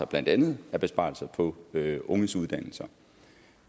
blandt andet besparelser på unges uddannelser